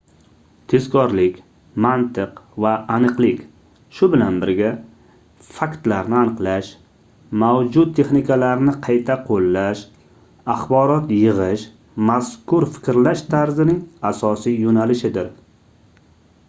tezkorlik mantiq va aniqlik shu bilan birga faktlarni aniqlash mavjud texnikalarni qayta qoʻllash axborot yigʻish mazkur fikrlash tarzining asosiy yoʻnalishidir